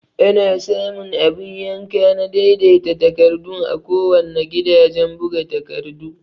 Ana samu abun yanka na daidai ta takardun a kuwanna gidajan buga takardu